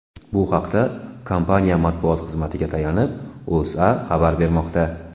Bu haqda, kompaniya matbuot xizmatiga tayanib, O‘zA xabar bermoqda .